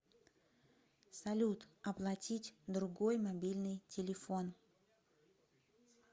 салют оплатить другой мобильный телефон